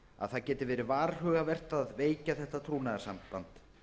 að það geti verið varhugavert að veikja þetta trúnaðarsamband